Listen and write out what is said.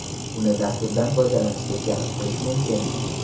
Uni dasturdan foydalanishga jalb qilish mumkin.